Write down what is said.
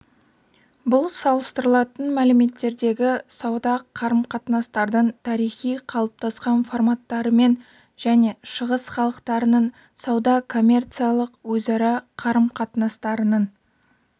бұл салыстырылатын мәдениеттердегі сауда қарым-қатынастардың тарихи қалыптасқан форматтарымен және шығыс халықтарының сауда коммерциялық өзара қарым-қатынастарының